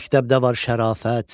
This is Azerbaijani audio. Məktəbdə var şərafət.